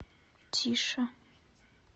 тише